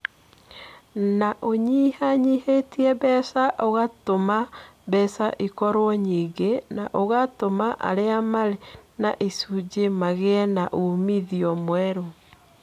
Nĩ ũnyihanyihĩtie mbeca, ũgatũma mbeca ikorũo nyingĩ, na ũgatũma arĩa marĩ na icunjĩ magĩe na uumithio mwerũ.